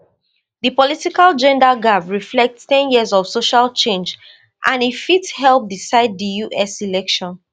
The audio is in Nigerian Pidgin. di political gender gap reflect ten years of social change and e fit help decide di us election